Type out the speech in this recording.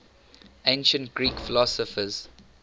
ancient greek philosophers